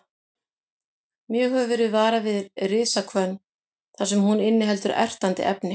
Mjög hefur verið varað við risahvönn þar sem hún inniheldur ertandi efni.